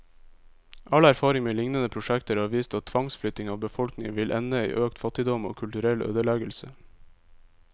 All erfaring med lignende prosjekter har vist at tvangsflytting av befolkningen vil ende i økt fattigdom, og kulturell ødeleggelse.